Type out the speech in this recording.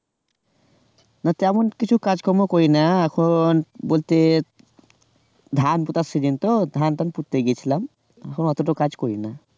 তেমন কিছু কাজ কর্ম করি না এখন বলতে ধান পোঁতার season তো ধান টান পুঁততে গিয়েছিলাম, এখন অতটাও কাজ করি না